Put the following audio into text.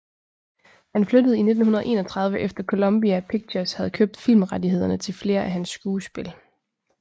Han flyttede i 1931 efter Columbia Pictures havde købt filmrettighederne til flere af hans skuespil